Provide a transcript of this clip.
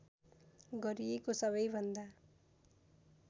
गरिएको सबैभन्दा